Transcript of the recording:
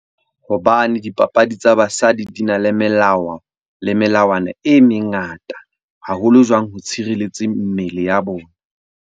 Hobane dipapadi tsa basadi di na le melao le melawana e mengata. Haholo jwang ho tshireletseng mmele ya bona.